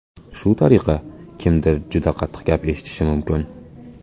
Shu tariqa, kimdir juda qattiq gap eshitishi mumkin.